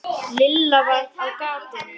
Lilla var á gatinu.